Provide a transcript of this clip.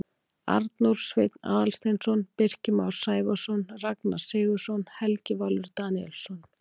Arnór Sveinn Aðalsteinsson Birkir Már Sævarsson Ragnar Sigurðsson Helgi Valur Daníelsson